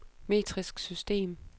metrisk system